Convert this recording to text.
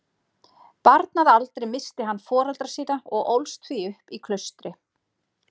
Barn að aldri missti hann foreldra sína og ólst því upp í klaustri.